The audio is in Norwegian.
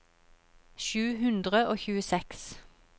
sju hundre og tjueseks